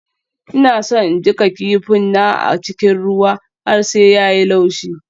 Ina so in jiƙa kifin na a cikin ruwa har sai ya yi laushi.